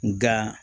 Nga